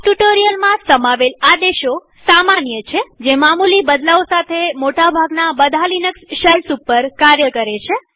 આ ટ્યુ્ટોરીઅલમાં સમાવેલ આદેશો સામાન્ય છેજે મામુલી બદલાવ સાથે મોટા ભાગના બધા લિનક્સ શેલ્સ ઉપર કાર્ય કરે છે